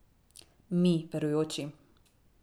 Mi, verujoči.